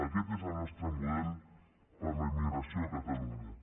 aquest és el nostre model per a la immigració a catalunya